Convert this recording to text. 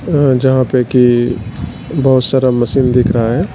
अं जहां पे की बहोत सारा मशीन दिख रहा है।